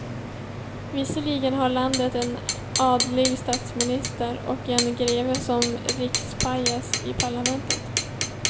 Visserligen har landet en adlig statsminister, och en greve som rikspajas i parlamentet.